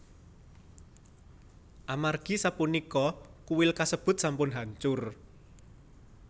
Amargi sapunika kuil kasebut sampun hancur